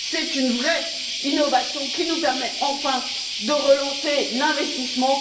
C'est une vraie innovation, qui nous permet enfin de relancer l'investissement.